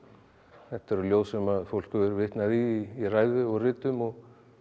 þetta eru ljóð sem fólk hefur vitnað í í ræðu og ritum og